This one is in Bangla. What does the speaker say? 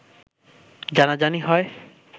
জানাজানি হয়